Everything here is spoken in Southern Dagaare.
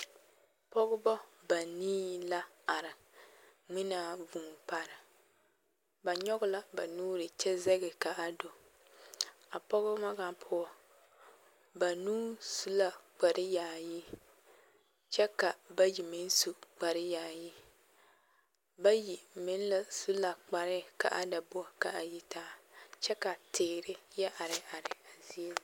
Pɔɡebɔ banii la are ŋmenaa vūū pare ba nyɔɡe la ba nuuri kyɛ zɛɡe ka a do a pɔɡebɔ ŋa poɔ banuu su la kparyaayi kyɛ ka bayi meŋ su kparyaayi bayi meŋ la su la kparɛɛ ka a da boɔrɔ ka a yitaa kyɛ ka teere yɛ areare a zie zaa.